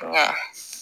Nka